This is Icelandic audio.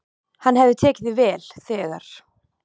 Hann hafði tekið því vel, þegar